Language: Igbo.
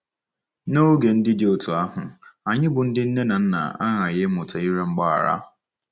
N'oge ndị dị otú ahụ, anyị bụ́ ndị nne na nna aghaghị ịmụta ịrịọ mgbaghara.